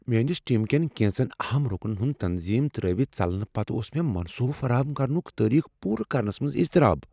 میٲنس ٹیم کین کینژن اہم رُکنن ہنٛد تنظیم ترٛٲوتھ ژلنہٕ پتہٕ اوس مےٚ منصوٗبہٕ فراہم کرنک تاریخ پورٕ کرنس منٛز اضطراب۔